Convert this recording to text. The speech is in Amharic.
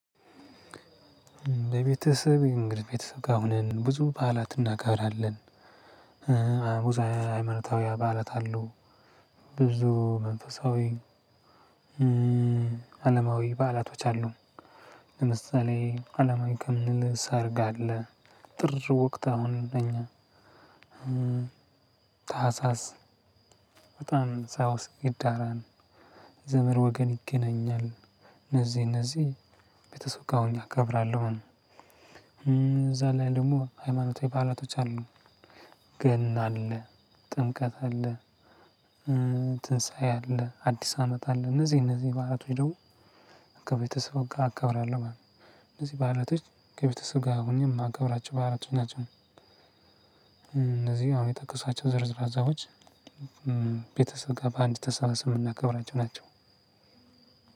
ቤተሰብ እንግዲህ ቤተሰብ ጋ ሆነን ብዙ በዓላት እናከብራለን። ሃይማኖታዊ በዓላት አሉ ብዙ መንፈሳዊ። አለማዊ በዓላቶች አሉ። ለምሳሌ አለማዊ ከምንል ሰርግ አለ። ጥር ወቅት አሁን እኛ ታህሳስ በጣም ሳውስ ይዳራን ዘመር ወገን ይገናኛል። እነዚህ እነዚህ ቤተሰብ ጋ ሆኜ አከብራለሁ። እዛ ላይ ደግሞ ሃይማኖታዊ ባህላቶች አሉ። ገና አለ፣ ጥምቀት አለ፣ ትንሳኤ አለ፣ አዲስ አመት አለ። እነዚህ እነዚህ ባአለቶች ደግሞ ከቤተሰብ ጋር አካብራለሁ ማለት ነው። እነዚህ በአለቶች ከቤተሰብ ጋ ሁኜ ማከብራቸው በአለቶች ናቸው። አሁን የጠቀስኩዋቸው ዝርዝር ሀሰቦች ቤታሰብ ጋ በአንድ ተሳበስበን ምናከብራቸው ናቸው።